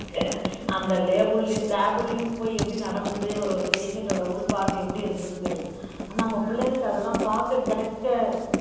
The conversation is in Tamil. அந்த lab லயும் போய் எப்படி நடந்தது ஒரு ஒரு patient ஓட உள் part எப்படி இருந்ததுன்னு தெரியல ஆனா நம்ம பிள்ளைங்களுக்கு அதெல்லாம் பாக்க கிடைக்க